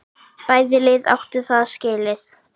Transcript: Bæði lið áttu það skilið.